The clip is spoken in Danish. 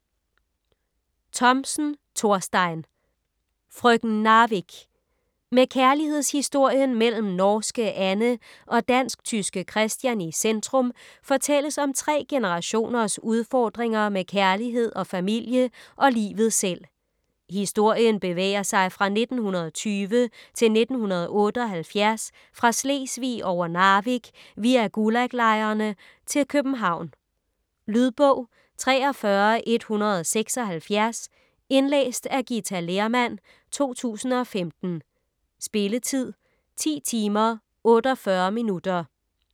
Thomsen, Thorstein: Frøken Narvik Med kærlighedshistorien mellem norske Anne og dansk-tyske Christian i centrum fortælles om tre generationers udfordringer med kærlighed og familie og livet selv. Historien bevæger sig fra 1920 til 1978 fra Slesvig over Narvik via Gulag-lejrene til København. Lydbog 43176 Indlæst af Githa Lehrmann, 2015. Spilletid: 10 timer, 48 minutter.